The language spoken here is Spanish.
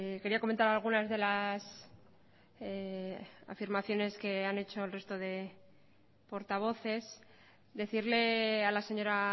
quería comentar algunas de las afirmaciones que han hecho el resto de portavoces decirle a la señora